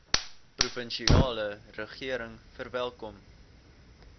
provinsiale regering verwelkom